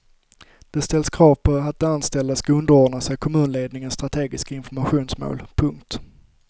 Det ställs krav på att de anställda ska underordna sig kommunledningens strategiska informationsmål. punkt